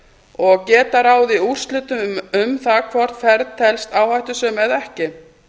og geta ráðið úrslitum um það hvort ferð telst áhættusöm eða ekki